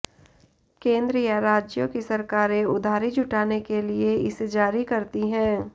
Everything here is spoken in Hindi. केंद्र या राज्यों की सरकारें उधारी जुटाने के लिए इसे जारी करती हैं